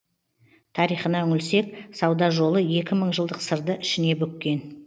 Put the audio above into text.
тарихына үңілсек сауда жолы екі мың жылдық сырды ішіне бүккен